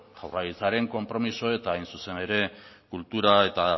jaurlaritzaren konpromiso eta hain zuzen ere kultura eta